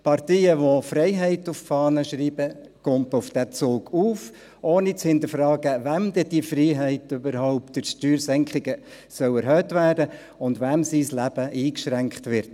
Parteien, die sich Freiheit auf die Fahne schreiben, springen auf diesen Zug auf, ohne zu hinterfragen, wessen Freiheit durch Steuersenkungen überhaupt erhöht und wessen Leben durch alle diese Sparübungen eingeschränkt wird.